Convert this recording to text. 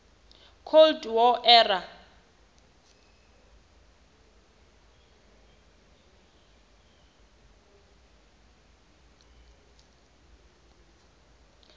cold war era